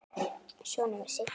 Svona var Siggi.